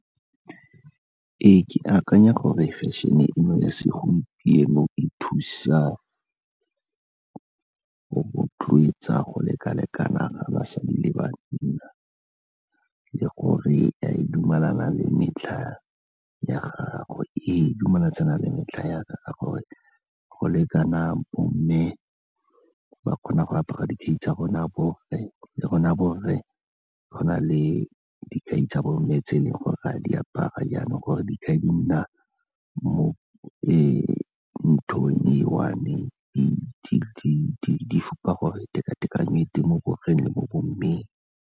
Ee, ke akanya gore fashion-e eno ya segompieno e thusa go rotloetsa go lekalekana ga basadi le banna le gore e dumelana le metlha ya gagwe. Ee, e dumelatsana le metlha ya ka ka gore go lekana bomme ba kgona go apara dikhai tsa rona borre, le rona borre go na le dikhai tsa bomme tse e leng gore re a di apara jaanong gore dikhai di nna, ee, mo e one e supa gore teka-tekano e teng mo borreng le mo bommeng.